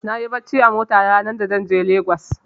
Nayi barci a mota ranar za zan je Lagos.